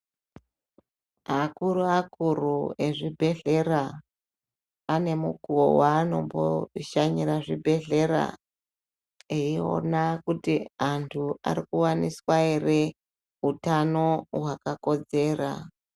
Akuru-akuru ezvibhedhlera ane mukuvo vanombo shanyira zvibhedhlera. Eiona kuti antu ari kuvaniswa ere utano hwakakodzera.